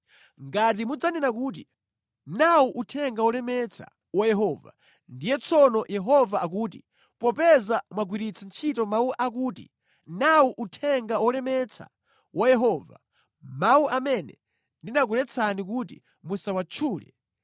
Ngati mudzanena kuti, ‘Nawu uthenga wolemetsa wa Yehova,’ ndiye tsono Yehova akuti, ‘Popeza mwagwiritsa ntchito mawu akuti: Nawu uthenga wolemetsa wa Yehova, mawu amene ndinakuletsani kuti musawatchule,